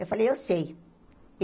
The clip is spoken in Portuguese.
Eu falei, eu sei.